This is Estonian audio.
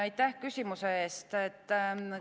Aitäh küsimuse eest!